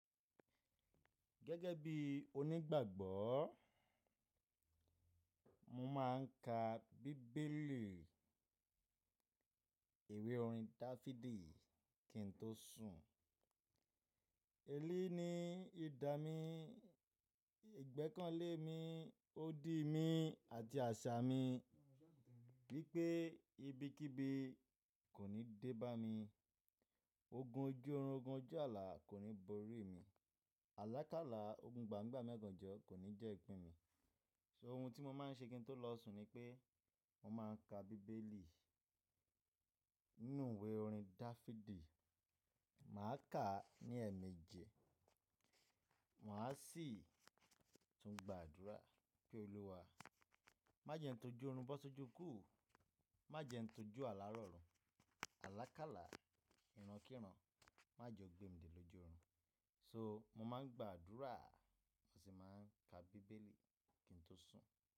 Gẹ́gẹ́ bí onígbàgbọ́, mo máà ń ka bíbélì ìwé orin Dáfídì kí n tó sùn. Eleyí ni idà mi, ìgbẹ́kànlé mi, odi mi àti àṣà mi. Bí pé ibikíbi kò ní dé bá mi, ogun ojú oorun, ogun ojú ààlà kò ní borí mi. Alákàlá ogun gbamigbami ogànjọ kò ní jẹ́ ìpín mi. Ohun tí mo máa ń ṣe kí n tó lọ sùn ni pé mo máa ń ka bíbélì nínú ìwé orin Dáfídì. Mà á kà á ní ẹ̀emeji. Mà á sì tún gba àdúrà pé Olúwa má jẹ ẹ ń tojú ọorun bó sojú kú, má jẹ ẹ ń tojú ààlà rọrùn, alákàlá, ìran kíran má jẹ ó gbé mi dé lójú ọorun. So mo máa ń gba àdúrà à mo sì máa ń ka bíbélì kí n tó sùn.